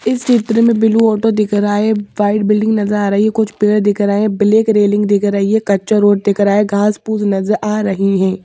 इस चित्र में ब्लू ऑटो दिख रहा है व्हाइट बिल्डिंग नजर आ रही है कुछ पेड़ दिख रहा है ब्लैक रेलिंग दिख रही है कच्चा रोड दिख रहा है। घास-पुश नजर आ रही है।